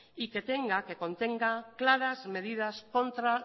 y que contenga claras medidas contra